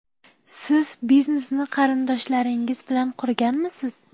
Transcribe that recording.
Siz biznesni qarindoshlaringiz bilan qurganmisiz?